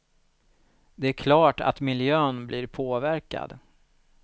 Det är klart att miljön blir påverkad.